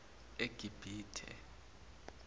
egibithe